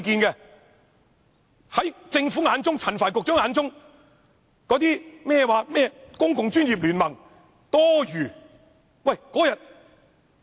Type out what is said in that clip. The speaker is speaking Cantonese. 在政府眼中，在陳帆局長眼中，甚麼公共專業聯盟是多餘的。